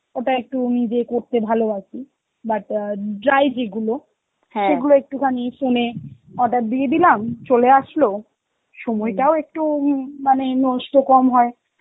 এটা একটু নিজে করতে ভালোবাসি but আ dry যেগুলো, সেইগুলো একটুখানি phone এ order দিয়ে দিলাম, চলে আসলো, সময়টাও একটু উম মানে নষ্ট কম হয়.